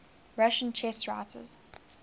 russian chess writers